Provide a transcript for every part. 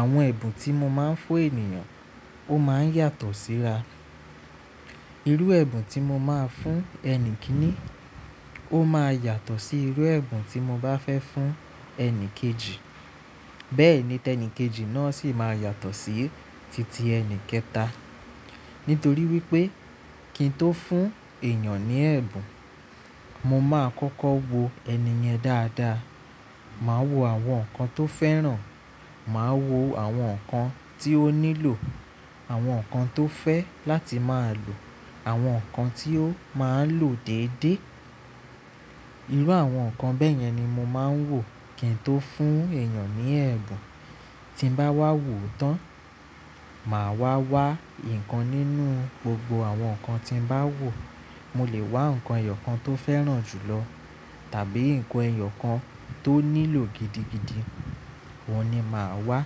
Àwọn ẹ̀bùn tí mo máa ń fún ènìyàn ó máa ń yàtọ̀ síra. Irú ẹ̀bùn tí mo máa fún ẹni kìíní ó máa yàtọ̀ sí irú ẹ̀bùn tí mo bá fẹ́ fún ẹni kejì. Bẹ́ẹ̀ ni tẹ́ ẹni kejì náà sì máa yàtọ̀ sí titi ẹni kẹta. Nítorí wípé kí n tó fún èèyàn ní ẹ̀bùn, mo máa kọ́kọ́ wo ènìyàn dáadáa. Màá wo àwọn nǹkan tó fẹ́ràn, màá wo àwọn nǹkan tí ó nílò, àwọn nǹkan tó fẹ́ láti máa lò, àwọn nǹkan tí ó máa ń lò déédéé. Irú àwọn nǹkan bẹ́yẹn ni mo máa ń wò kí n tó fún èèyàn ní ẹ̀bùn. Tí n bá wá wò tán, màá wá wá nǹkan nínú gbogbo àwọn nǹkan tí n bá wò. Mo lè wá nǹkan ẹyọ kan tó fẹ́ràn jùlọ tàbí nǹkan ẹyọ kan tó nílò gidigidi. Òun ni màá wá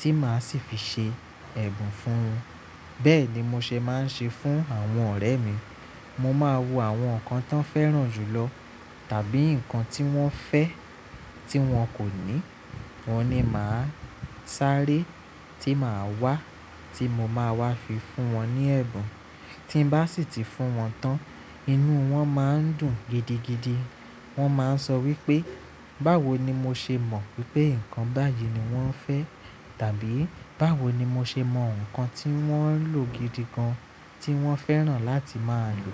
tí màá sì fi ṣe ẹ̀bùn fún un. Bẹ́ẹ̀ ni mo ṣe máa ń ṣe fún àwọn ọ̀rẹ́ mi. Mo máa wo àwọn nǹkan tán fẹ́ràn jùlọ tàbí nǹkan tí wọ́n fẹ́ tí wọn kò ní. Wọ́n ni màá sáré tí màá wá tí mo máa wá fi fún wọn ní ẹ̀bùn. Tí n bá sì ti fún wọn tán, inú wọn máa ń dùn gidigidi. Wọ́n máa ń sọ wípé báwo ni mo ṣe mọ̀ wípé nǹkan báyìí ni wọ́n fẹ́? Tàbí báwo ni mo ṣe mọ nǹkan tí wọ́n n lò gidigan tí wọ́n fẹ́ràn láti máa lò?